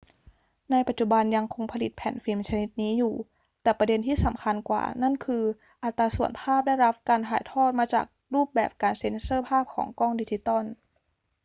ในปัจจุบันยังคงผลิตแผ่นฟิล์มชนิดนี้อยู่ แต่ประเด็นที่สำคัญกว่านั้นคืออัตราส่วนภาพได้รับการถ่ายทอดมาจากรูปแบบการเซ็นเซอร์ภาพของกล้องดิจิทัล